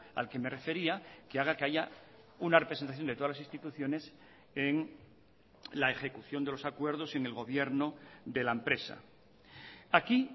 al que me refería que haga que haya una representación de todas las instituciones en la ejecución de los acuerdos en el gobierno de la empresa aquí